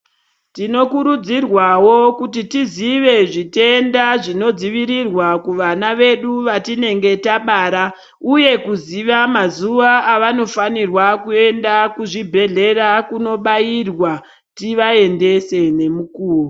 Tinokurudzirwawo kuti tiziye zvitenda zvinodzivirirwa kuvana vedu vatinenge tabara uye kuziva mazuva avanofanirwa kuenda kuzvibhedhlera kunobairwa. Tivaendese ngemukuwo.